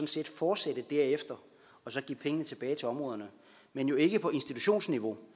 set fortsætte derefter og så give pengene tilbage til områderne men jo ikke på institutionsniveau